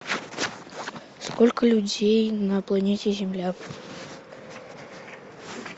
сколько людей на планете земля